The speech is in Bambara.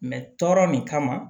tɔɔrɔ nin kama